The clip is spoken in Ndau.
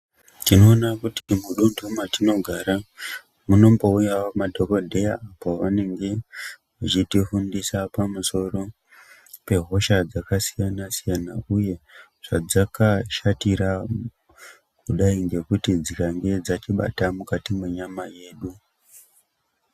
Tinoona kuti mudunthu matinogara munombouyawo madhokodheya pavanenge vechitifundisa pamusoro pehosha dzakasiyana siyana, uye zvadzakashatira kudai ngekuti dzikange dzatibata mukati mwenyama yedu.